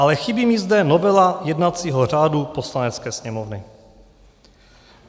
Ale chybí mi zde novela jednacího řádu Poslanecké sněmovny.